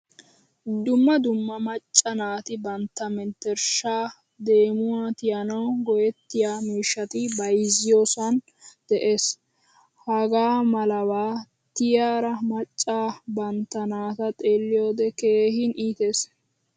Dumma dumma macca naati bantta menttershsha, deemuwaa tiyanawu go'ettiyo miishshati bayzziyosan de'ees. Hagaamalaba tiyeriya macca bantta naati xeeliyode keehin iittees.